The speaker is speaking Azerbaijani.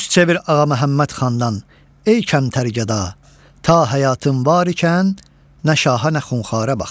Üç çevir Ağaməhəmməd xandan, ey kəmtər gəda, ta həyatın var ikən nə şaha nə Xunxarə bax.